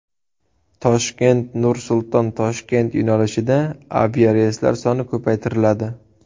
Toshkent–Nur-Sulton–Toshkent yo‘nalishida aviareyslar soni ko‘paytiriladi.